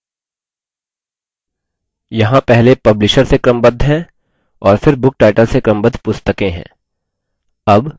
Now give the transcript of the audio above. यहाँ पहले publisher से क्रमबद्ध है और फिर book title से क्रमबद्ध पुस्तकें हैं